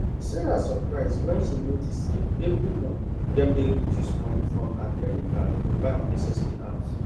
sarah suprise when she notice say every month dem dey reduce money from her credit card to buy unnecessary apps